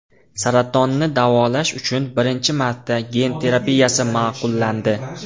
Saratonni davolash uchun birinchi marta gen terapiyasi ma’qullandi.